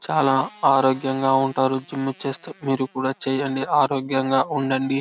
చాలా ఆరోగ్యంగా ఉంటారు జిం చేస్తే మీరు కూడా జిం చెయ్యండి ఆరోగ్యంగా ఉండండి.